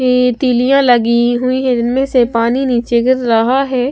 ये तीलियां लगी हुई है इनमें से पानी नीचे गिर रहा है।